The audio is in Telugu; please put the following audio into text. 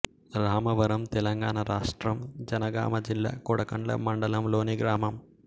రామవరం తెలంగాణ రాష్ట్రం జనగామ జిల్లా కొడకండ్ల మండలంలోని గ్రామం